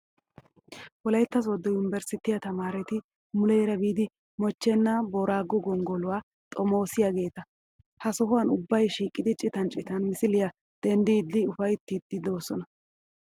Wolayittaa sodo yunbberesttiyaa tamaareti muleera biidi moochchenaa booraago gonggoluwaa xomoosiyaageeta. Ha sohan ubbayi shiiqidi citan citan misiliyaa denddiiddi upayittiiddi doosona.